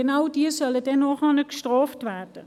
Genau diese sollen dann bestraft werden.